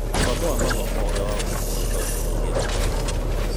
Mũbango wa mathomo ũrĩa wahũthĩkire gũĩka ũthuthuria wa mathomo.